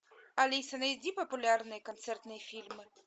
алиса найди популярные концертные фильмы